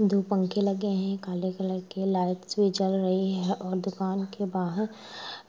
दो पंखे लगे है काले कलर के लाइट्स भी जल रही है और दुकान के बाहर